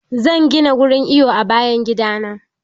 Zan gina wurin iwo a bayan gida na.